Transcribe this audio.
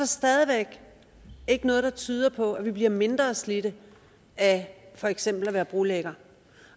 stadig væk ikke noget der tyder på at man bliver mindre slidt af for eksempel at være brolægger